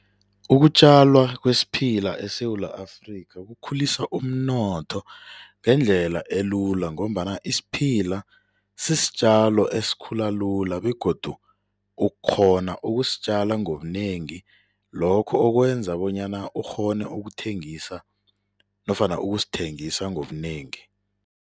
Ukutjalwa kwesiphila eSewula Afrika kukhulisa umnotho ngendlela elula ngombana isiphila sisitjalo esikhula lula begodu ukghona ukusitjala ngobunengi, lokho okwenza bonyana ukghone ukuthengisa nofana ukusithengisa ngobunengi.